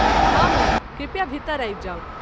हँ, मैम, कृपया भीतर आबि जाउ।